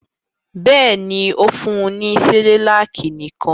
Bẹ́ẹ̀ ni, ó fún ní Cerelac nìkan.